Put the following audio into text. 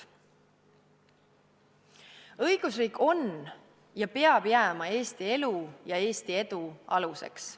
Õigusriik on ja peab jääma Eesti elu ja Eesti edu aluseks.